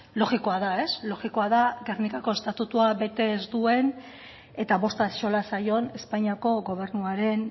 logikoa da ez logikoa da gernikako estatutua bete ez duen eta bost axola zaion espainiako gobernuaren